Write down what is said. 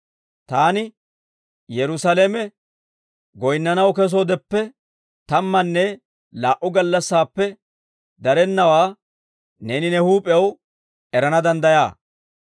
Taani Yerusaalame goyinnanaw kesoodeppe tammanne laa"u gallassaappe darennawaa neeni ne huup'ew erana danddayaa.